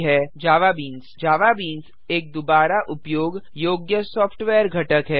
JavaBeans जवाबीनों एक दुबारा उपयोग योग्य सॉफ्टवेयर घटक है